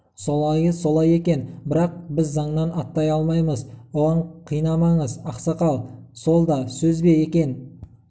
солайы солай екен бірақ біз заңнан аттай алмаймыз оған қинамаңыз ақсақал сол да сөз бе екен